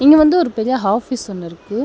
இங்க வந்து ஒரு பெரிய ஆபீஸ் ஒன்னிருக்கு.